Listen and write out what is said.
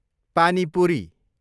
पानी पुरी